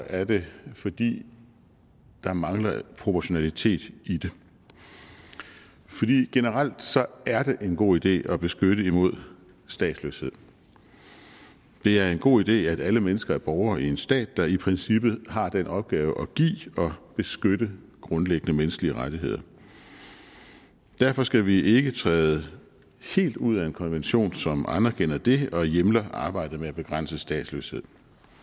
er det fordi der mangler proportionalitet i det generelt er det en god idé at beskytte imod statsløshed det er en god idé at alle mennesker er borgere i en stat der i princippet har den opgave at give og beskytte grundlæggende menneskelige rettigheder derfor skal vi ikke træde helt ud af en konvention som anerkender det og hjemler arbejdet med at begrænse statsløshed